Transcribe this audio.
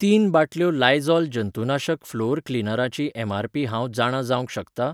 तीन बाटल्यो लायझॉल जंतुनाशक फलोअर क्लीनरां ची एमआरपी हांव जाणा जावंक शकता ?